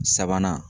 Sabanan